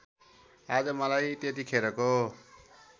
आज मलाई त्यतिखेरको